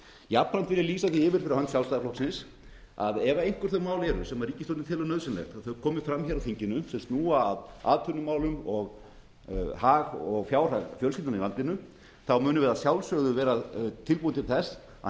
jafnframt vil ég lýsa því yfir fyrir hönd sjálfstæðisflokksins að ef einhver þau mál eru sem ríkisstjórnin telur nauðsynlegt að komi fram hér á þinginu sem snúa að atvinnumálum og hag og fjárhag fjölskyldnanna í landinu munum við að sjálfsögðu vera tilbúin til þess að